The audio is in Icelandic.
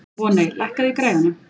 Voney, lækkaðu í græjunum.